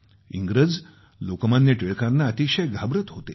इंग्रज लोकमान्य टिळकांना अतिशय घाबरत होते